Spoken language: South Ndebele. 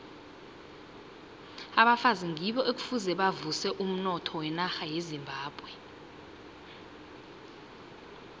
abafazi ngibo ekufuze bavuse umnotho wenarha yezimbabwe